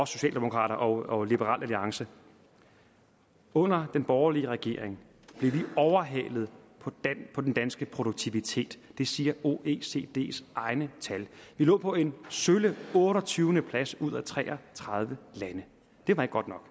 socialdemokrater og liberal alliance under den borgerlige regering blev vi overhalet på den danske produktivitet det siger oecds egne tal vi lå på en sølle otteogtyvende plads ud af tre og tredive lande det var ikke godt nok